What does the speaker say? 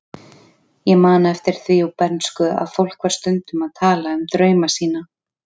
Ég man eftir því úr bernsku að fólk var stundum að tala um drauma sína.